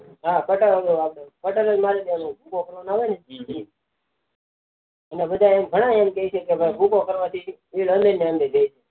હા કટર જ મારી દેવાનું હોય ભૂકો ન કરવો હોય તો એ અને આમ ઘણા બધા એમ કે છે ભૂકો કરવા થી એને એ રે